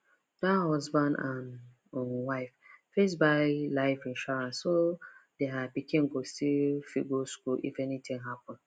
that husband and um wife first buy life insurance so their pikin go still fit go school if anything happen